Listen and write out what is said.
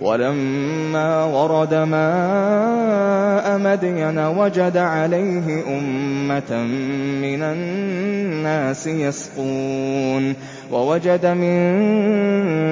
وَلَمَّا وَرَدَ مَاءَ مَدْيَنَ وَجَدَ عَلَيْهِ أُمَّةً مِّنَ النَّاسِ يَسْقُونَ وَوَجَدَ مِن